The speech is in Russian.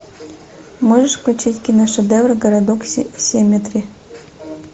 можешь включить киношедевр городок семетри